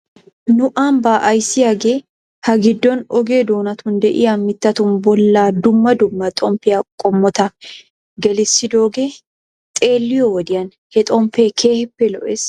Nu ambba ayssiyaagee ha giddon oge doonatun de'iyaa mittatun bolla dumma dumma xomppiyaa qommota gelissidoogee xeelliyoo wodiyan he xomppee keehiippe lo'ees.